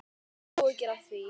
Þið höfðuð áhyggjur af því?